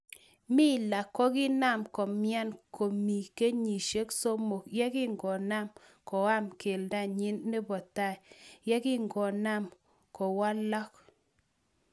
mila kogiinam komian komi kenyisiek somok yagingonam koam kelndonyin nepo tai yegingonam kokwalok